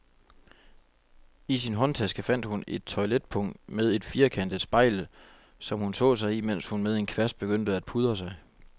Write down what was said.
I sin håndtaske fandt hun et toiletpung med et firkantet spejl, som hun så sig i, mens hun med en kvast begyndte at pudre sig.